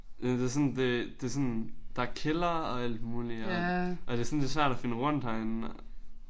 Ja men det sådan det det sådan der er kælder og alt muligt og og det er sådan det er svært at finde rundt herinde og